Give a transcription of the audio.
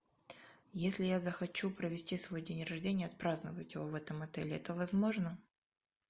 если я захочу провести свой день рождения отпраздновать его в этом отеле это возможно